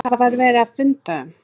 Hvað var verið að funda um?